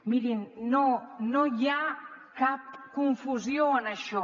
mirin no no hi ha cap confusió en això